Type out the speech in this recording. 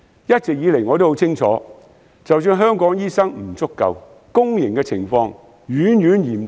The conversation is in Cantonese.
一直以來，我都很清楚，在香港醫生不足的情況下，公營的情況遠遠較私營嚴峻。